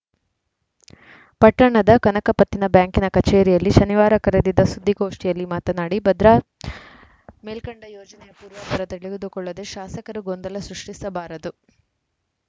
ಪಟ್ಟಣದ ಕನಕ ಪತ್ತಿನ ಬ್ಯಾಂಕಿನ ಕಚೇರಿಯಲ್ಲಿ ಶನಿವಾರ ಕರೆದಿದ್ದ ಸುದ್ದಿಗೋಷ್ಠಿಯಲ್ಲಿ ಮಾತನಾಡಿ ಭದ್ರಾ ಮೇಲ್ಕಂಡೆ ಯೋಜನೆಯ ಪೂರ್ವಾಪರ ತಿಳಿದುಕೊಳ್ಳದೆ ಶಾಸಕರು ಗೊಂದಲ ಸೃಷ್ಟಿಸಬಾರದು